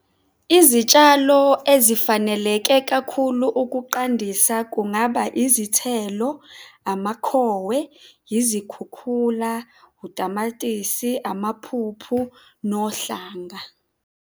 Izitshalo ezifaneleke kakhulu ukuqandisa kungaba izithelo, amakhowe, yizikhukhula, utamatisi, amaphuphu nohlanga.